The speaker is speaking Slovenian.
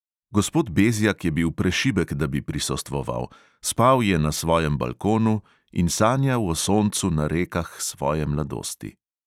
Gospod bezjak je bil prešibek, da bi prisostvoval, spal je na svojem balkonu in sanjal o soncu na rekah svoje mladosti.